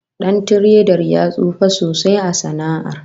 Dan tiredar ya tsufa sosai a sana'ar